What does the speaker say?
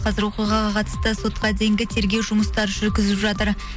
қазір оқиғаға қатысты сотқа дейінгі тергеу жұмыстары жүргізіп жатыр